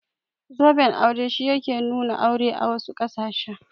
Zoben aure shi yake nuna aure a wasu ƙasashen.